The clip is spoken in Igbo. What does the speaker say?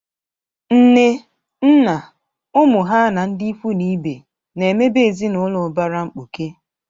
Nne, nna, ụmụ ha na ndị ikwu na ibe na-ebe ezinaụlọ ụbara mkpuke.